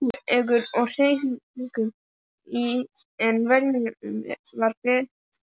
Þunglamalegur í hreyfingum en viljinn var einbeittur.